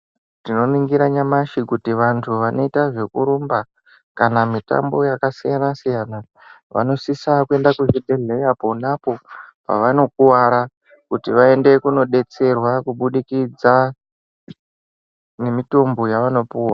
Tinoningira nyamashi kuti vanoita zvekurumba kana mitambo yakasiyana-siyana vanosisa kuenda kuzvibhedhlera ponapo pavanokuvara kuti vaende kunodetserwa kubudikidza ngemitombo yavanopuwa.